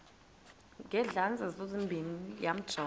ngezandla zozibini yamjonga